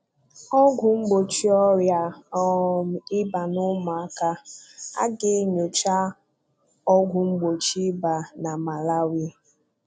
Ọ́gwụ̀ Mgbochi Ọrịa um Ịba n'Ụmụaka: A ga-enyocha Ọ́gwụ̀ mgbochi ịba na Malawi